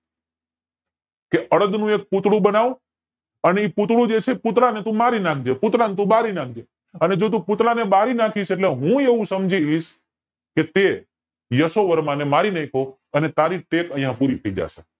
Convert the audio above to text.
કે અડદ નું એક પૂતળું બનાવ અને એ પૂતળું જે છે પૂતળાને તું મારી નાખજે અને પૂતળાને તું બાળી નાખજે અને જો તું પૂતળાને બાળી નાખીસ એટલે હું એવું સમજીશ કે તે યશોવર્મા ને મારી નાખ્યો અને તારી ટેક અહીંયા પુરી થાય જશે